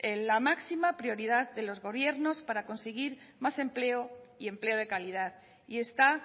la máxima prioridad de los gobiernos para conseguir más empleo y empleo de calidad y está